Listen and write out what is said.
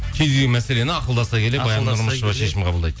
кез келген мәселені ақылдаса келе шешім қабылдайды